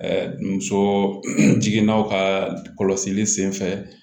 muso jiginnaw ka kɔlɔsili senfɛ